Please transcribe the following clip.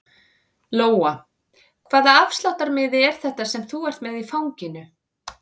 Lóa: Hvaða afsláttarmiði er þetta sem þú ert með í fanginu?